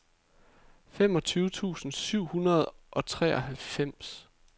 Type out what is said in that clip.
femogtyve tusind syv hundrede og treoghalvfems